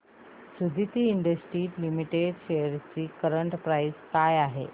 Suditi industries limited shares ची current price काय आहे